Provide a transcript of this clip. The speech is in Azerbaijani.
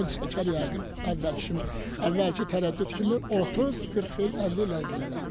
Bu çəkər yəqin əvvəlki əvvəlki tərəddüd kimi 30-40 il, 50 il ərzində.